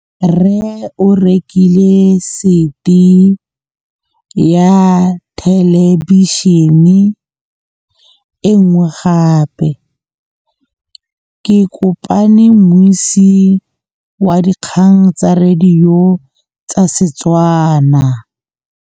Rre o rekile sete ya thêlêbišênê e nngwe gape. Ke kopane mmuisi w dikgang tsa radio tsa Setswana.